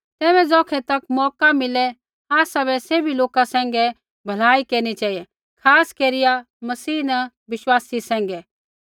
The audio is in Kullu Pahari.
तैबै ज़ौखै तक मौका मिले आसाबै सैभी लोका सैंघै भलाई केरनी चेहिऐ खास केरिया मसीह न विश्वासी सैंघै